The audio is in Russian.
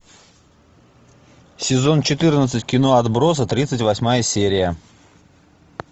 сезон четырнадцать кино отбросы тридцать восьмая серия